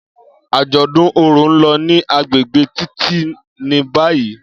Ajọdun orò n lọ ni agbegbe Titi ni bayi.